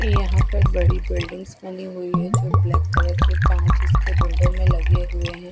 यह पर बड़ी बिल्डिंग बनी हुई है जो ब्लैक कलर के कांच इसके विंडो में लगे हुए है।